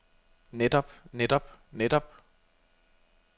netop netop netop